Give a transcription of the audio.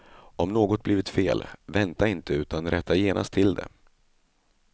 Om något blivit fel, vänta inte utan rätta genast till det.